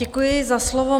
Děkuji za slovo.